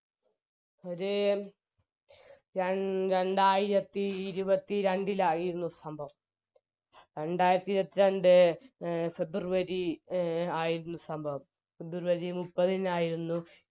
ഒര് രണ്ടായിരത്തി ഇരുപത്തിരണ്ടിനടിയായിരുന്നു സംഭവം രണ്ടായിരത്തിഇരുപത്രണ്ട് february എ ആയിരുന്നു സംഭവം february മുപ്പതിനായിരുന്നു